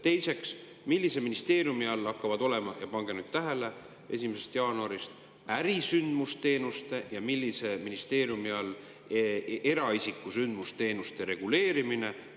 Teiseks, millise ministeeriumi all hakkavad 1. jaanuarist olema – ja pange nüüd tähele – ärisündmusteenuste ja millise ministeeriumi all eraisiku sündmusteenuste reguleerimine?